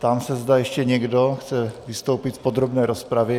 Ptám se, zda ještě někdo chce vystoupit v podrobné rozpravě.